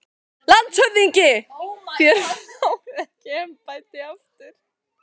LANDSHÖFÐINGI: Þér fáið ekki embættið aftur